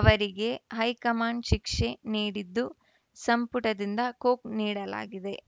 ಅವರಿಗೆ ಹೈಕಮಾಂಡ್‌ ಶಿಕ್ಷೆ ನೀಡಿದ್ದು ಸಂಪುಟದಿಂದ ಕೊಕ್‌ ನೀಡಲಾಗಿದೆ